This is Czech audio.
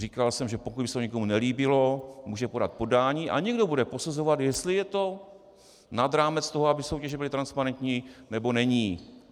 Říkal jsem, že pokud by se to někomu nelíbilo, může podat podání a někdo bude posuzovat, jestli je to nad rámec toho, aby soutěže byly transparentní, nebo není.